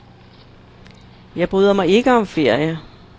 Jeg bryder mig ikke om ferie.